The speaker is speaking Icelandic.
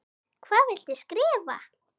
Hvað viltu skrifa?